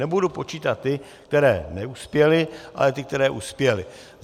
Nebudu počítat ty, které neuspěly, ale ty, které uspěly.